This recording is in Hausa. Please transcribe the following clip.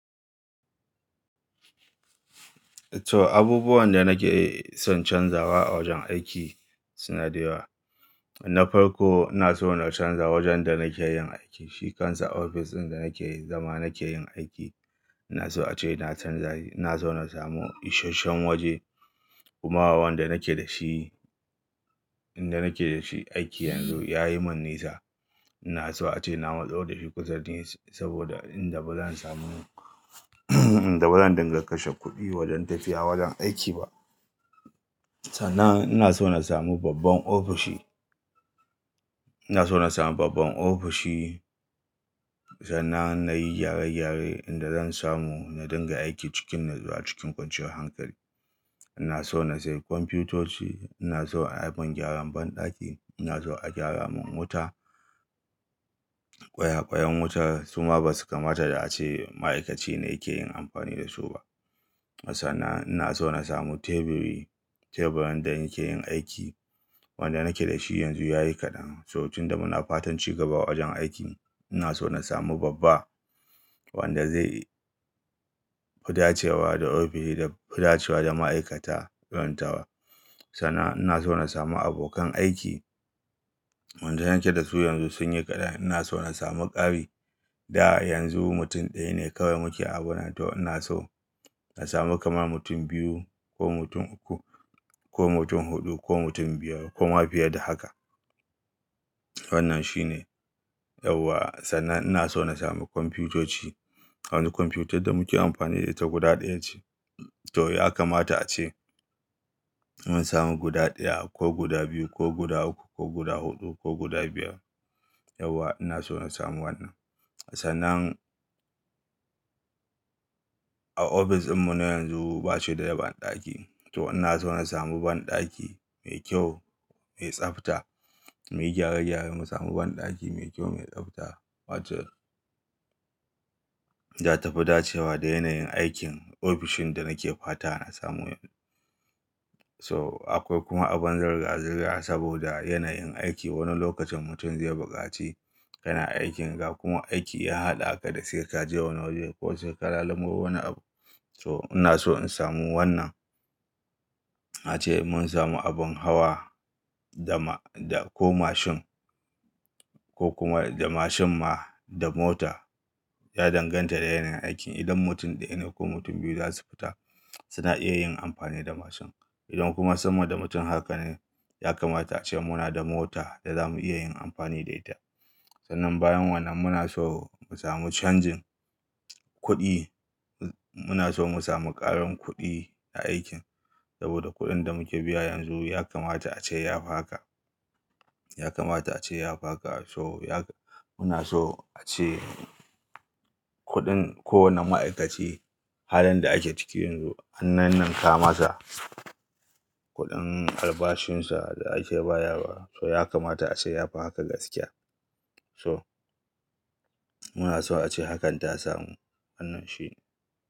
To abubuwan da nake son canzawa a wajen aiki suna da yawa. Na farko, ina so na canza wajen da nake yin aiki, shi kansa ofis ɗin da nake zama nake yin aiki. Ina so a ce na canzashi, ina so na samu isasshen waje. Kuma wanda nake da shi, inda nake da shi aiki yanzu ya yi mun nisa. Ina so ace na matso da shi kusa ni saboda inda ba zan samu inda ba zan dinga kashe kuɗi wajen tafiya wajen aiki ba. Sannan ina so na samu babban ofishi. Ina so na samu babban ofishi. Sannan na yi gyare-gyare inda zan samu na dinga aiki cikin natsuwa cikin kwanciyar hankali. Ina so na sayi kwamfutoci. Ina so a yi min gyaran banɗaki. Ina so a gyara mun wuta. Ƙwayaƙwayen wuta su ma ba su kamata a ce ma'aikaci ne yake yin amfani da su ba. Sannan ina so na samu teburi, teburin da nake yin aiki wanda nake da shi yanzu ya yi kaɗan. So tun da muna fatan ci gaba a wajen aiki ina so na samu babba wanda zai fi dacewa da ofishi da fi dacewa da ma'aikata irin tawa. Sannan ina so na samu abokan aiki wanda nake da su yanzu sun yi kaɗan. Ina so na samu ƙari da yanzu mutum ɗaya ne kawai muke awurin to ina so na samu kamar mutum biyu ko mutum uku ko mutum huɗu ko mutum biyar ko ma fiye da haka. Wannan shi ne. Yauwa sannan ina so na samu kwamfutoci. Wani kwamfutar da muke amfani da ita guda ɗaya ce. To ya kamata a ce mun samu guda ɗaya ko guda biyu ko guda uku ko guda huɗu ko guda biyar. Yauwa ina so na samu wannan. Sannan a ofis ɗinmu na yanzu ba shi da daban ɗaki. To ina so na samu banɗaki mai kyau, mai tsabta, muyi gyare-gyare, mu samu banɗaki mai kyau, mai tsabta wacce za ta fi dacewa da yanayin aikin ofishin da nake fata na samu yanzu. To akwai kuma abin zirga-zirga saboda yanayin aiki wani lokacin mutum zai buƙaci yana aikin ga kuma aiki ya haɗa aka da sai ka je wani waje ko sai ka lalumo wani abu. So ina so in samu wannan. Na ce mun samu abin hawa da ma, da ko mashin ko kuma da mashin ma da mota ya danganta da yanayin aikin. Idan mutum ɗaya ne ko mutum biyu za su fita suna iya yin amfani da mashin. Idan kuma sama da mutum haka ne ya kamata a ce muna da mota da za mu iya yin amfani da ita. Sannan bayan wannan muna so mu samu canjin kuɗi. Muna so mu samu ƙarin kuɗi a aikin saboda kuɗin da muke biya yanzu ya kamata a ce ya fi haka. Ya kamata a ce ya fi haka. So ya ka-- muna so a ce kuɗin kowane ma'aikaci halin da ake ciki yanzu an ninninka masa kuɗin albashinsa da ake bayar wa. So ya kamata a ce ya fi haka gaskiya. So muna so a ce hakan ta samu. Wannan shi ne.